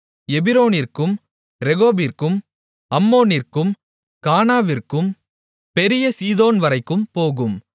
எபிரோனிற்கும் ரேகோபிற்கும் அம்மோனிற்கும் கானாவிற்கும் பெரிய சீதோன்வரைக்கும் போகும்